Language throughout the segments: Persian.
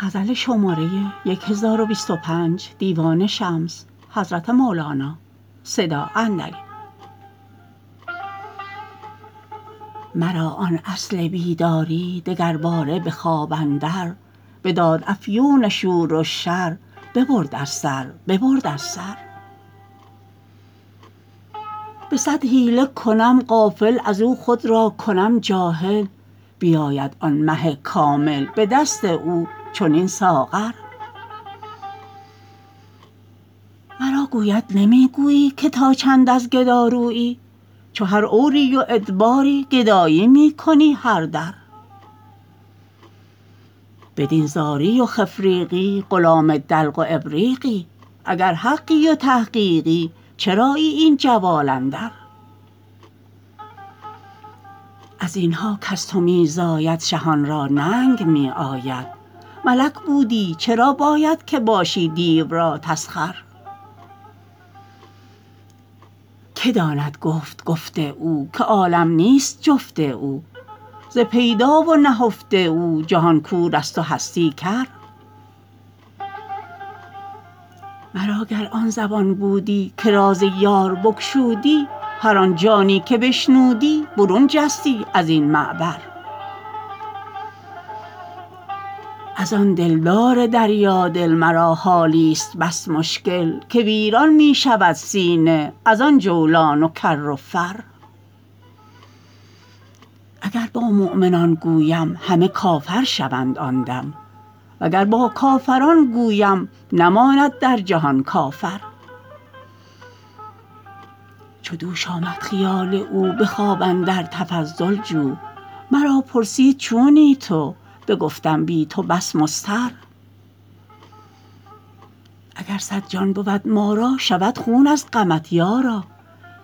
مرا آن اصل بیداری دگرباره به خواب اندر بداد افیون شور و شر ببرد از سر ببرد از سر به صد حیله کنم غافل از او خود را کنم جاهل بیاید آن مه کامل به دست او چنین ساغر مرا گوید نمی گویی که تا چند از گدارویی چو هر عوری و ادباری گدایی می کنی هر در بدین زاری و خفریقی غلام دلق و ابریقی اگر حقی و تحقیقی چرایی این جوال اندر از این ها کز تو می زاید شهان را ننگ می آید ملک بودی چرا باید که باشی دیو را تسخر که داند گفت گفت او که عالم نیست جفت او ز پیدا و نهفت او جهان کورست و هستی کر مرا گر آن زبان بودی که راز یار بگشودی هر آن جانی که بشنودی برون جستی از این معبر از آن دلدار دریادل مرا حالیست بس مشکل که ویران می شود سینه از آن جولان و کر و فر اگر با مؤمنان گویم همه کافر شوند آن دم وگر با کافران گویم نماند در جهان کافر چو دوش آمد خیال او به خواب اندر تفضل جو مرا پرسید چونی تو بگفتم بی تو بس مضطر اگر صد جان بود ما را شود خون از غمت یارا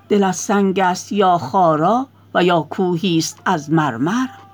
دلت سنگست یا خارا و یا کوهیست از مرمر